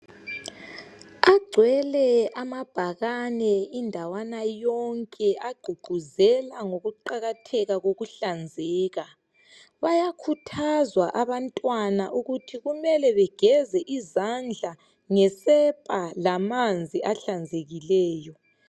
Agcwele amabhakane indawana yonke agqugquzela ngokuqakatheka kokuhlanzeka. Bayakhuthazwa abantwana ukuthi kumele begeze izandla ngesepa lamanzi ahlanzekileyo.